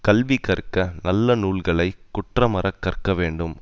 கல்வி கற்க நல்ல நூல்களை குற்றமற கற்க வேண்டும்